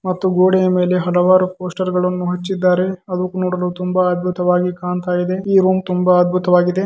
ಮತ್ತು ಇಲ್ಲ ಗೋಡೆ ಮೇಲೆ ಹಲವರು ಪೋಸ್ಟರ್ಗಳನ್ನು ಹಚ್ಚಿದ್ದಾರೆ ಅದು ನೋಡೋದು ತುಂಬಾ ಅದ್ಭುತವಾಗಿ ಕಾಣುತ್ತಿದೆ ಈ ರೂಮ್ ತುಂಬಾ ಅದ್ಭುತವಾಗಿ ಕಾಣುತ್ತಿದೆ.